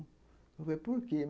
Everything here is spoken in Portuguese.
Eu falei, por quê?